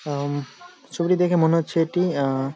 অ্যাম ছবিটি দেখে মনে হচ্ছে এটি আ--